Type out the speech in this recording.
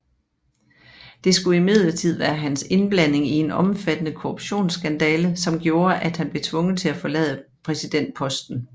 Det skulle imidlertid være hans indblanding i en omfattende korruptionsskandale som gjorde at han blev tvunget til at forlade præsidentposten